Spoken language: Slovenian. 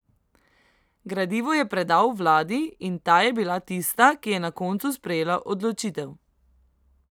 Gradivo je predal vladi in ta je bila tista, ki je na koncu sprejela odločitev.